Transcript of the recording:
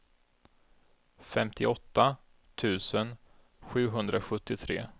femtioåtta tusen sjuhundrasjuttiotre